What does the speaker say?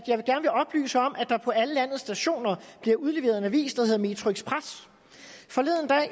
der på alle landets stationer bliver udleveret en avis der hedder metroxpress